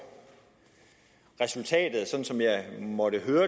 år resultatet sådan som jeg måtte høre